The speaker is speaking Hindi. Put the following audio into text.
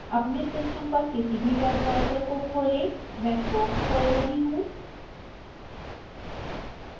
अपने सिस्टम पर किसी भी वेब ब्राउज़र को खोलें मैं chrome खोल रही हूँ